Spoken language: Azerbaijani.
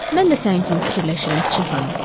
Mən də sənin kimi fikirləşirəm, kiçik xanım.